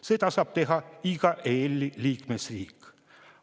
Seda saab teha iga EL‑i liikmesriik.